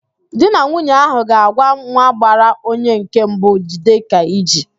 Di na nwunye ahụ ga-agwa nwa gbara onye nke mbụ, "jide ka iji"